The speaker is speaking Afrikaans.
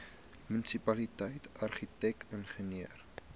munisipaliteit argitek ingenieur